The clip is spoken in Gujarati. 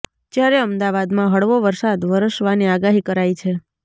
જ્યારે અમદાવાદમાં હળવો વરસાદ વરસવાની આગાહી કરાઈ છે